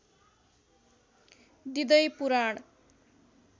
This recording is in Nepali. दिँदै पुराण